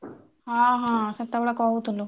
ହଁ ହଁ ସେତେ ବେଳେ କହୁଥିଲୁ।